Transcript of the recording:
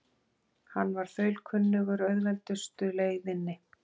Hann var þaulkunnugur auðveldustu leiðinni.